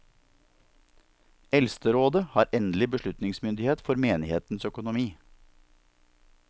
Eldsterådet har endelig beslutningsmyndighet for menighetens økonomi.